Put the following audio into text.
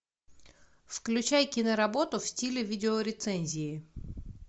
включай киноработу в стиле видеорецензии